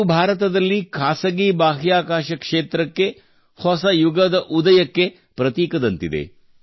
ಇದು ಭಾರತದಲ್ಲಿ ಖಾಸಗಿ ಬಾಹ್ಯಾಕಾಶ ಕ್ಷೇತ್ರಕ್ಕೆ ಹೊಸ ಯುಗದ ಉದಯಕ್ಕೆ ಪ್ರತೀಕದಂತಿದೆ